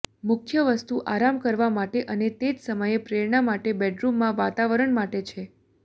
મુખ્ય વસ્તુ આરામ કરવા માટે અને તે જ સમયે પ્રેરણા માટે બેડરૂમમાં વાતાવરણ માટે છે